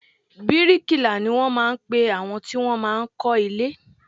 Bíríkilà ni wọn máa ń pe àwọn tí wọn máa ń kọ́ ilé.